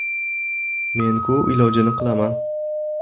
Men-ku ilojini qilaman.